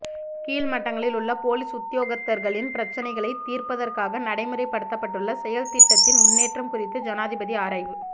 கீழ் மட்டங்களிலுள்ள பொலிஸ் உத்தியோகத்தர்களின் பிரச்சினைகளை தீர்ப்பதற்காக நடைமுறைப்படுத்தப்பட்டுள்ள செயற்திட்டத்தின் முன்னேற்றம் குறித்து ஜனாதிபதி ஆராய்வு